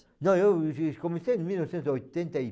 Não, eu comecei em mil novecentos e oitenta e